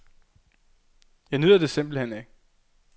Jeg nyder det simpelt hen ikke.